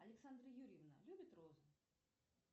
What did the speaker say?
александра юрьевна любит розы